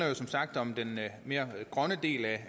jo som sagt om den mere grønne del